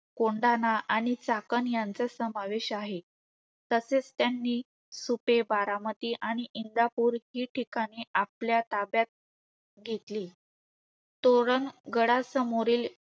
कोंढाणा आणि चाकण यांचा समावेश आहे. तसेच त्यांनी सुपे, बारामती आणि इंजापूर हि ठिकाणे आपल्या ताब्यात घेतली. तोरण गडासमोरील